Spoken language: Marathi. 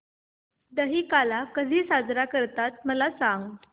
दहिकाला कधी साजरा करतात मला सांग